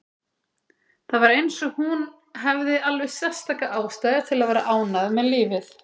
Það var eins og hún hefði alveg sérstaka ástæðu til að vera ánægð með lífið.